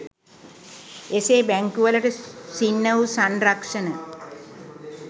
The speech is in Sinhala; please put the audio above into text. එසේ බැංකුවලට සින්න වූ සංරක්ෂණ